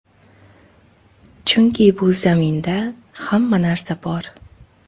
Chunki bu zaminda hamma narsa bor.